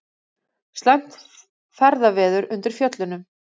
Slæmt ferðaveður undir Fjöllunum